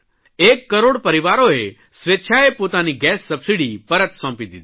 એક કરોડ પરિવારોએ સ્વેચ્છાએ પોતાની ગેસ સબસીડી પરત સોંપી દીધી